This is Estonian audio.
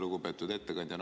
Lugupeetud ettekandja!